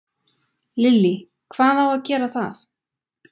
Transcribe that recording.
Lillý: Hvað á að gera það?